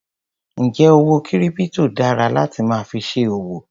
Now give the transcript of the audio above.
Njẹ owó kírípítò dára láti máa fi ṣe òwò?